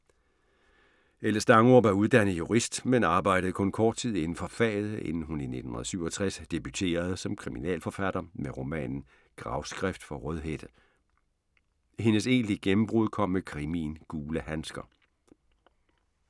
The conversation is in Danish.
Helle Stangerup er uddannet jurist, men arbejdede kun kort inden for faget, inden hun i 1967 debuterede som kriminalforfatter med romanen Gravskrift for Rødhætte. Hendes egentlige gennembrud kom med krimien Gule handsker.